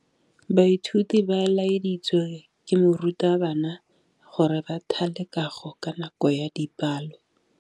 Baithuti ba laeditswe ke morutabana gore ba thale kagô ka nako ya dipalô.